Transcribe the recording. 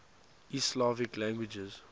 east slavic languages